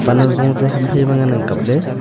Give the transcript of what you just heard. pan ajung chu ham phai ma ngan ang kaple.